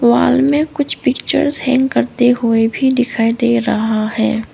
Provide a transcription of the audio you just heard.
Wall में कुछ pictures hang करते हुए भी दिखाई दे रहा है।